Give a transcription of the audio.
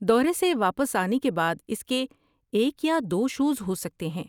دورے سے واپس آنے کے بعد اس کے ایک یا دو شوز ہو سکتے ہیں۔